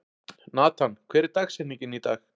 Natan, hver er dagsetningin í dag?